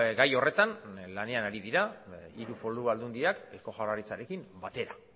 gai horretan lanean ari dira hiru foru aldundiak eusko jaurlaritzarekin batera